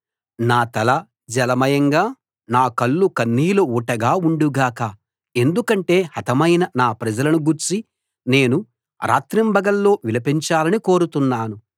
నా తల జలమయంగా నా కళ్ళు కన్నీటి ఊటగా ఉండు గాక ఎందుకంటే హతమైన నా ప్రజలను గూర్చి నేను రాత్రింబగళ్ళూ విలపించాలని కోరుతున్నాను